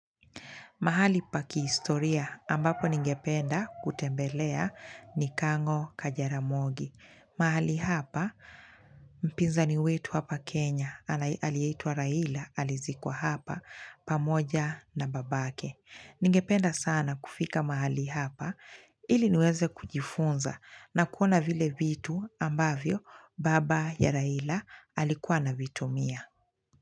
Mahali pakihistoria ambapo ningependa kutembelea ni kang'o kajaramogi mahali hapa mpinzani wetu hapa kenya alieitwa raila alizikuwa hapa pamoja na baba yake ningependa sana kufika mahali hapa ili niweze kujifunza na kuona vile vitu ambavyo baba ya raila alikuwa anavitumia.